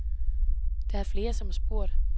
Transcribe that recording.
Der er flere, som har spurgt.